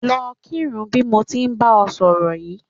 Lọ kírun bí mo ti ń bá ẹ sọ̀rọ̀ yìí